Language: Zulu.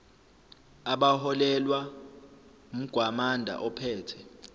abaholelwa umgwamanda ophethe